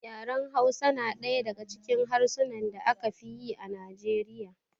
Yaran Hausa na ɗaya daga cikin harsunan da aka fi yi a Nijeriya.